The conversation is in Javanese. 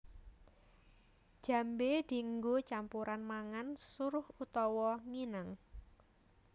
Jambé dienggo campuran mangan suruh utawa nginang